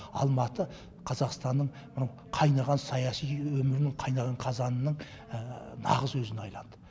алматы қазақстанның мынау қайнаған саяси өмірінің қайнаған қазанының нағыз өзіне айналды